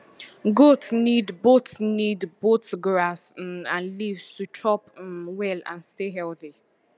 goat need both need both grass um and leaves to chop um well and stay healthy